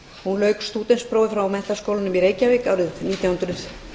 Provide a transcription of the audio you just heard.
hún lauk stúdentsprófi frá menntaskólanum í reykjavík árið nítján hundruð